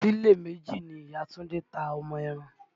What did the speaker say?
Ṣílè méjì ni ìya Túndé ta ọmọ ẹran